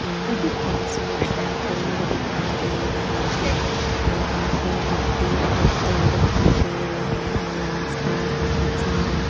यहां पे सूखे पेड़ दिखाएं दे रहे हैं यहां पे मिट्टी पत्थर दिखाई दे रहे हैं आस पास बहोत सारे--